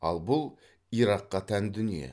ал бұл иракқа тән дүние